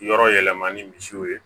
Yɔrɔ yɛlɛma ni misiw ye